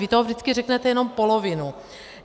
Vy toho vždycky řeknete jenom polovinu.